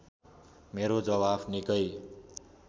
मेरो जवाफ निकै